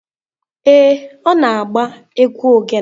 Ee, ọ na-agba egwu ogene.